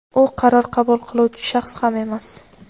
u qaror qabul qiluvchi shaxs ham emas.